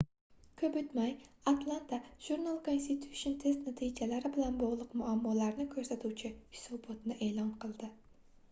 koʻp oʻtmay atlanta journal-constitution test natijalari bilan bogʻliq muammolarni koʻrsatuvchi hisobotni eʼlon qildi